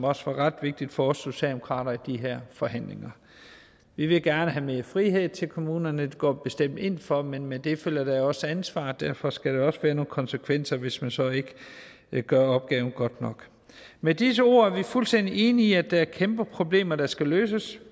også ret vigtigt for os socialdemokrater i de her forhandlinger vi vil gerne mere frihed til kommunerne det går vi bestemt ind for men med det følger der jo også ansvar derfor skal der også være nogle konsekvenser hvis man så ikke gør opgaven godt nok med disse ord er vi fuldstændig enige i at der er kæmpe problemer der skal løses